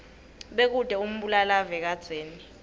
bekute umbulalave kadzeni